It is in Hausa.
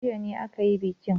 Jiya ne aka yi bikin.